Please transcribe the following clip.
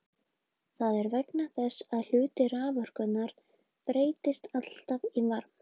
Það er vegna þess að hluti raforkunnar breytist alltaf í varma.